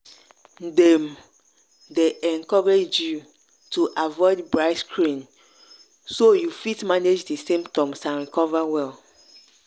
dem dey encourage you to avoid bright screen so you fit manage di symptoms and recover well.